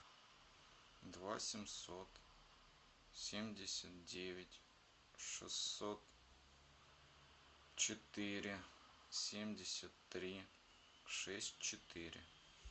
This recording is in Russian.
два семьсот семьдесят девять шестьсот четыре семьдесят три шесть четыре